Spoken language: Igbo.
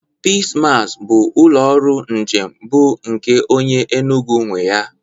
Peace Mass bụ ụlọ ọrụ njem bụ nke onye Enugu nwe ya.